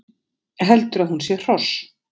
Heldur að hún sé hross